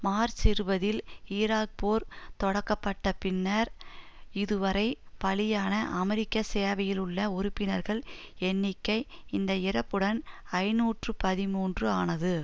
March இருபதில் Iraq போர் தொடக்கப்பட்ட பின்னர் இதுவரை பலியான அமெரிக்க சேவையிலுள்ள உறுப்பினர்கள் எண்ணிக்கை இந்த இறப்புடன் ஐநூற்று பதிமூன்று ஆனது